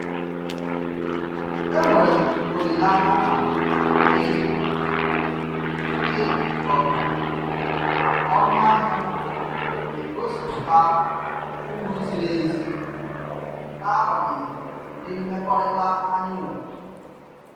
Enwere m olileanya na ị ị ghọtara na ọnụahịa m na-egosịpụta uru ziri ezi, n'agbanyeghi ụdị mmekọrịta anyi nwere.